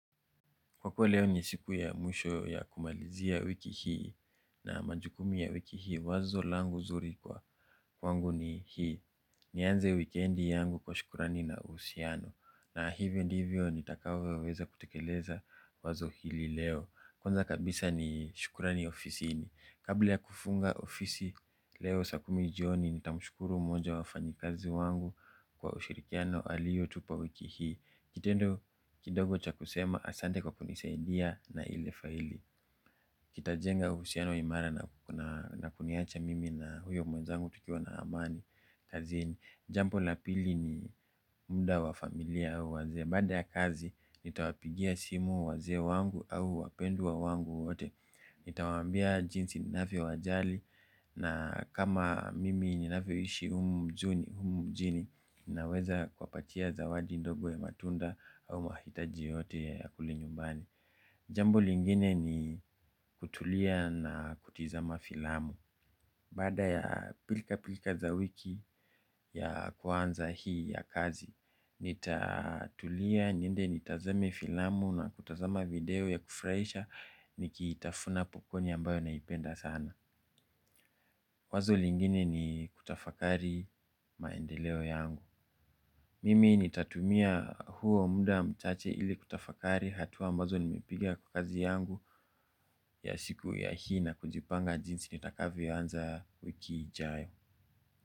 Kwa kuwa leo ni siku ya mwisho ya kumalizia wiki hii na majukumu ya wiki hii wazo langu zuri kwa kwangu ni hii. Nianze wikendi yangu kwa shukurani na uhusiano na hivyo ndivyo nitakavyo weza kutekeleza wazo hili leo. Kwanza kabisa ni shukurani ofisini. Kabla ya kufunga ofisi leo saa kumi jioni nitamushkuru mmoja wafanyikazi wangu kwa ushirikiano aliyotupa wiki hii. Kitendo kidogo cha kusema asante kwa kunisaidia na ile faili kitajenga uhusiano imara na kuniacha mimi na huyo mwenzangu tukiwa na amani kazini, jambo la pili ni muda wa familia au wazee. Baadae ya kazi, nitawapigia simu waze wangu au wapendwa wangu wote. Nitawambia jinsi ninavyo wajali. Na kama mimi ninavyo ishi humu mjuni, humu mjini ninaweza kuwa patia zawadi ndogo ya matunda au mahitaji yote ya kule nyumbani. Jambo lingine ni kutulia na kutizama filamu baada ya pilikapilika za wiki ya kwanza hii ya kazi nitatulia niende nitazame filamu na kutazama video ya kufurahisha. Niki itafuna popkoni ambayo naipenda sana. Wazo lingine ni kutafakari maendeleo yangu. Mimi nitatumia huo muda mchache ili kutafakari hatua ambazo nimepiga kwa kazi yangu ya siku ya hii na kujipanga jinsi ni itakavyo anza wiki ijayo.